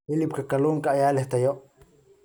Hilibka kalluunka ayaa leh tayo.